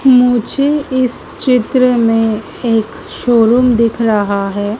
मुझे इस चित्र में एक शोरूम दिख रहा है।